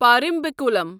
Parambikulam